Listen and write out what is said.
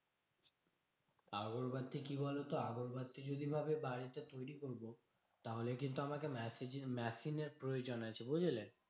আগরবাতি কি বলতো? আগরবাতি যদি ভাবি বাড়িতে তৈরী করবো? তাহলে কিন্তু আমাকে machine এর প্রয়োজন আছে, বুঝলে?